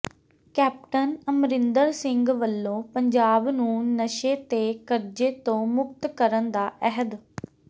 captain Amarinder Singh ਵੱਲੋਂ ਪੰਜਾਬ ਨੂੰ ਨਸ਼ੇ ਤੇ ਕਰਜ਼ੇ ਤੋਂ ਮੁਕਤ ਕਰਨ ਦਾ ਅਹਿਦ